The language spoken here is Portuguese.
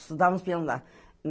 Estudávamos piano lá.